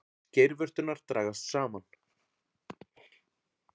Geirvörturnar dragast saman.